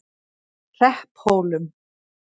Hrepphólum